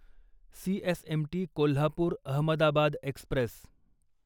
CSMT Kolhapur Ahmedabad Express